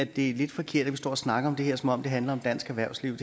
det er lidt forkert at vi står og snakker om det her som om det handler om dansk erhvervsliv